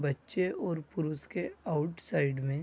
बच्चे और पुरुष के आउट्साइड में--